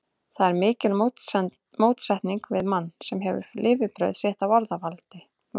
Það er mikil mótsetning við mann, sem hefur lifibrauð sitt af orðavaðli.